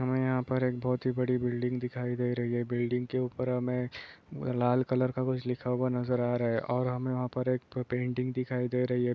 हमें यहाँ पर एक बहुत ही बड़ी बिल्डिंग दिखाई दे रही है। बिल्डिंग के उपर हमें लाल कलर का कुछ लिखा हुआ नजर आ रहा है। और हमें वहाँ पर एक तो प पेंटिंग दिखाई दे रही है।